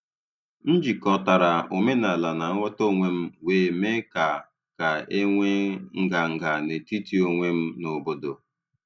M jikọtara omenala na nghọta onwe m, wee mee ka ka e nwee nganga n’etiti onwe m na obodo.